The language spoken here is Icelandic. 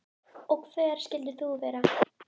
Og hver skyldir þú nú vera?